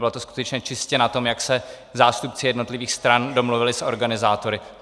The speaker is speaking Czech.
Bylo to skutečně čistě na tom, jak se zástupci jednotlivých stran domluvili s organizátory.